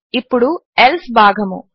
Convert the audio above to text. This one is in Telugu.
ఇప్పుడు ఎల్సే భాగము